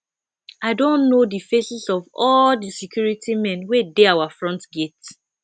i don know the faces of all the security men wey dey our front gate